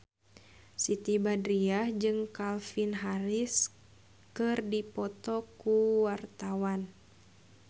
Siti Badriah jeung Calvin Harris keur dipoto ku wartawan